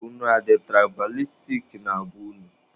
Unu adị tụraịbalistik na be unu?